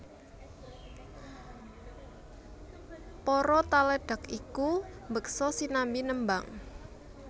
Para taledhek iku mbeksa sinambi nembang